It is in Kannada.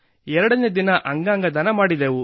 ಎರಡನೇ ದಿನ ಅಂಗಾಂಗ ದಾನ ಮಾಡಿದೆವು